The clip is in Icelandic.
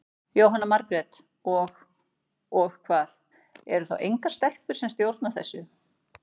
Jóhanna Margrét: Og, og hvað, eru þá engar stelpur sem stjórna þessu?